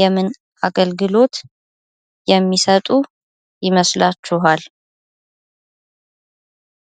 የምን አገልግሎት የማሰጡ ይመስላችኳል?